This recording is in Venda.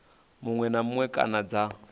muṅwe na muṅwe kana dza